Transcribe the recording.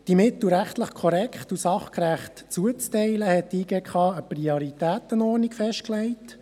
Um die Mittel rechtlich korrekt und sachgerecht zuzuteilen, hat die JGK eine Prioritätenordnung festgelegt.